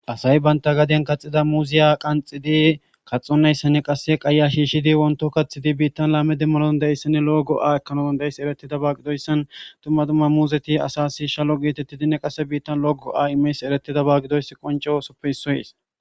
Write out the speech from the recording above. asayi banta gaden kaxida muuziya qanxidi kaxonnayssanne qasse qaya shiishshidi wonto kaththidi biittan laame demmanoon deissanne logo7a ekanoodon deis eretida baaqidoyssan tumma tumma muuzeti asasi shalo geetettidinne qasse biittan logo a imeys eretida baaggidoys qoncesoppe issoyes